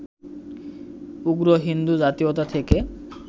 উগ্র হিন্দু জাতীয়তা থেকে